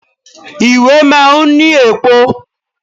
Ìwé máa ń ní èpo.